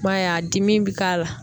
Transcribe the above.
I b'a ye a dimi be ka la.